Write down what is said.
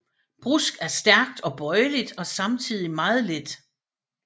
Brusk er stærkt og bøjeligt og samtidig meget let